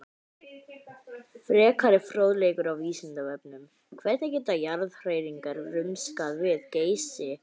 Frekari fróðleikur á Vísindavefnum: Hvernig geta jarðhræringar rumskað við Geysi?